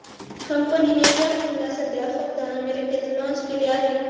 कंपनीने या फोनला सध्या फक्त अमेरिकेत लाँच केले आहे